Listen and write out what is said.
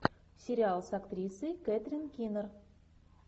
сериал с актрисой кэтрин кинер